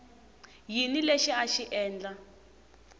yini lexi a xi endla